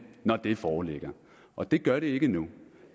når det foreligger og det gør det ikke endnu